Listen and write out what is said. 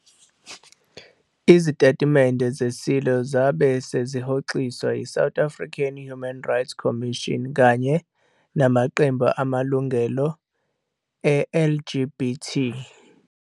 Izitatimende zeSilo zabe sezihoxiswa yi-South African Human Rights Commission kanye nAmaqembu amalungelo e-LGBT.